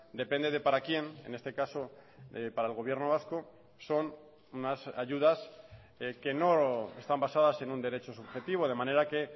depende de para quién en este caso para el gobierno vasco son unas ayudas que no están basadas en un derecho subjetivo de manera que